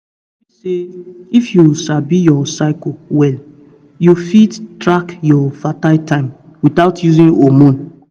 you sabi say if you sabi your cycle well you fit track your fertile time without using hormone